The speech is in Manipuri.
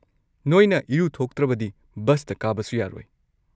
ꯅꯣꯏꯅ ꯏꯔꯨꯊꯣꯛꯇ꯭ꯔꯕꯗꯤ ꯕꯁꯇ ꯀꯥꯕꯁꯨ ꯌꯥꯔꯣꯏ꯫